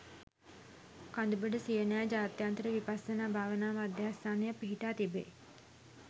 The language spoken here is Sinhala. කඳුබොඩ සියනෑ ජාත්‍යන්තර විපස්සනා භාවනා මධ්‍යස්ථානය පිහිටා තිබෙයි.